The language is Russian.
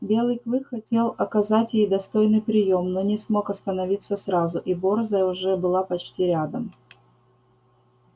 белый клык хотел оказать ей достойный приём но не смог остановиться сразу и борзая уже была почти рядом